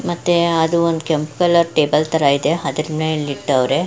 ಮತ್ತೆ ಅದು ಒಂದು ಕೆಂಪು ಕಲರ್ ಟೇಬಲ್ ತರ ಇದೆ ಅದನ್ನ ಇಲ್ಲಿ ಇಟ್ಟವ್ರೆ.